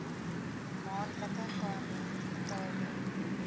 maandelikse paaiement betaalbaar